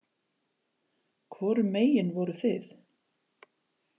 Hvorum megin voruð þið?